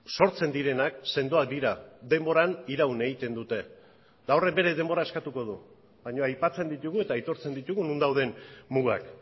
sortzen direnak sendoak dira denboran iraun egiten dute eta horrek bere denbora eskatuko du baina aipatzen ditugu eta aitortzen ditugu non dauden mugak